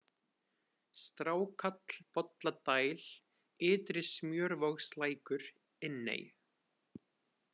Strákáll, Bolladæl, Ytri-Smjörvogslækur, Inney